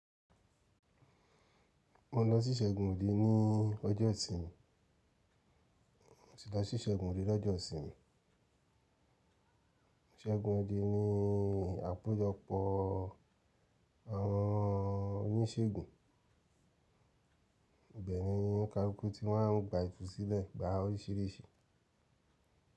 Mo lọ sí Ṣégunnde ní ọjọ́ ìsinmi. Mo ti lọ sí Ṣégunnde lọ́jọ́ ìsinmi. Ṣégunnde ni àpéjọpọ̀ àwọn oníṣègùn. Bẹ́ẹ̀ ni, ońikáluku tí n máa ń gba ìtúsílẹ̀ gba oríṣìíríṣìí.